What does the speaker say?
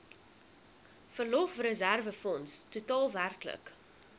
verlofreserwefonds totaal werklik